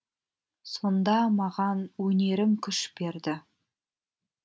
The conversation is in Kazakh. сонда маған өнерім күш берді